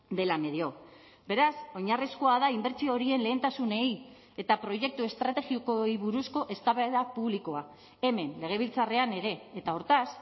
dela medio beraz oinarrizkoa da inbertsio horien lehentasunei eta proiektu estrategikoei buruzko eztabaida publikoa hemen legebiltzarrean ere eta hortaz